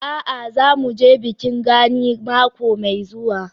A'a, za mu je bikin Gani mako mai zuwa.